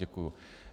Děkuji.